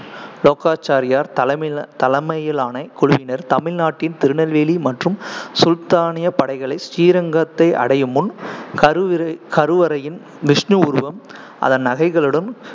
லோகாச்சாரியார் தலைமை தலைமையிலான குழுவினர் தமிழ்நாட்டின் திருநெல்வேலி மற்றும் சுல்தானியப் படைகளை ஸ்ரீரங்கத்தை அடையும் முன், கருவிற~ கருவறையின் விஷ்ணு உருவம் அதன் நகைகளுடன்